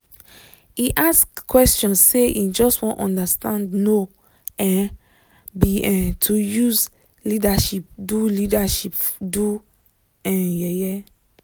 e ask question say him just wan understand no um be um to use leadership do leadership do um yeye